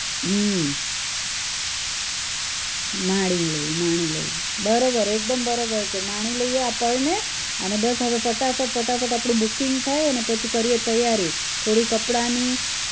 હમ માણી લઇ માણી લઇ બરોબર એકદમ બરોબર છે માણી લઇએ આ પળને અને બસ હવે ફટાફટ ફટાફટ આપણું booking થાય અને પછી કરીએ તૈયારી થોડી કપડાની